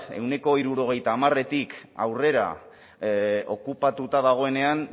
ehuneko hirurogeita hamarretik aurrera okupatuta dagoenean